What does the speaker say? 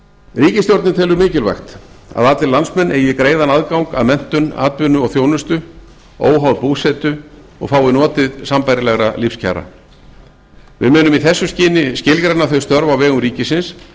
ríkisstjórnin telur mikilvægt að að allir landsmenn eigi greiðan aðgang að menntun atvinnu og þjónustu óháð búsetu og fái notið sambærilegra lífskjara við munum í þessu skyni skilgreina þau störf á vegum ríkisins